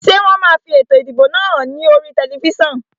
Ṣé wọn máa fi ètò ìdìbò náà hàn ní oríi tẹlifísàn?